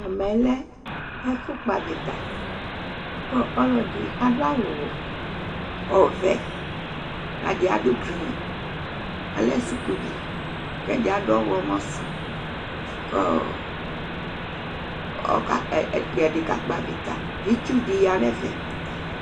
Ɛmɛlɛ ɛfu kpɔ avita Ɔlɔɖi aɖu awu vɛ Ɛɖi aɖu green, alɛ sʋkuvi Ɛdí aɖu ɔwlɔmɔ su Ɛɖì kakpɔ avita kʋ itsu ɖi ya ŋu ɛfɛ